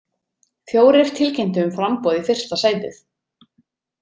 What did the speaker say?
Fjórir tilkynntu um framboð í fyrsta sætið.